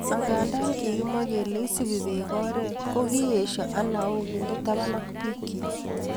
Nganda kikimwa kele isubi Bek oret, kokiesio Anao kende taban ak bikchi